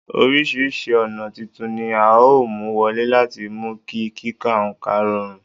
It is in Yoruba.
Oríṣiríṣi ọ̀nà titun ni a ó mú wọlé láti mú kí kíka oǹkà rọrùn